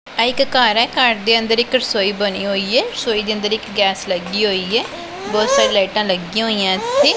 ਐ ਇੱਕ ਘਰ ਹੈ ਘਰ ਦੇ ਅੰਦਰ ਇੱਕ ਰਸੋਈ ਬਣੀ ਹੋਈ ਏ। ਰਸੋਈ ਦੇ ਅੰਦਰ ਇੱਕ ਗੈਸ ਲੱਗੀ ਹੋਈ ਏ ਬਹੁਤ ਸਾਰੀ ਲਾਈਟਾਂ ਲੱਗੀਆਂ ਹੋਈਆਂ ਇਥੇ।